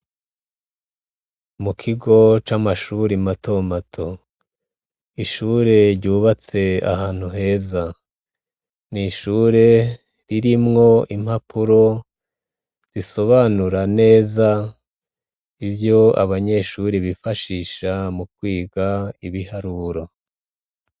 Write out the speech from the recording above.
Mukigo c'amashure matomato ishure ryubatse ahantu heza ni ishure ririmwo impapuro risobanura neza ivyo abanyeshure bakoresha mukwiga neza ibiharuro.